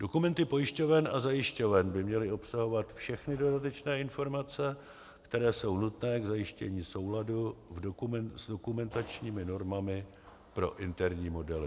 Dokumenty pojišťoven a zajišťoven by měly obsahovat všechny dodatečné informace, které jsou nutné k zajištění souladu s dokumentačními normami pro interní modely.